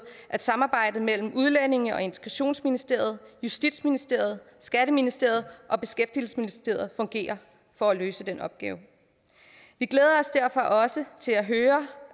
at samarbejdet mellem udlændinge og integrationsministeriet justitsministeriet skatteministeriet og beskæftigelsesministeriet fungere for at løse den opgave vi glæder os derfor også til at høre